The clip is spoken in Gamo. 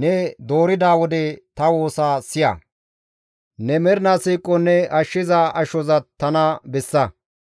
Ne doorida wode ta woosa siya; ne mernaa siiqon ne ashshiza ashoza tana bessa.